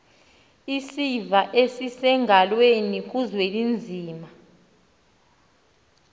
isiva esisengalweni kuzwelinzima